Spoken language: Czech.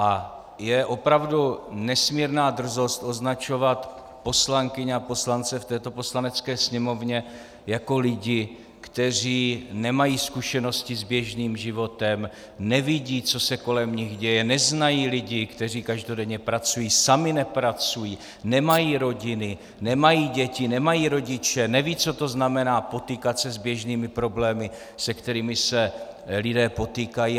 A je opravdu nesmírná drzost označovat poslankyně a poslance v této Poslanecké sněmovně jako lidi, kteří nemají zkušenosti s běžným životem, nevidí, co se kolem nich děje, neznají lidi, kteří každodenně pracují, sami nepracují, nemají rodiny, nemají děti, nemají rodiče, nevědí, co to znamená potýkat se s běžnými problémy, se kterými se lidé potýkají.